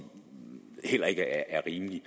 heller ikke er rimelige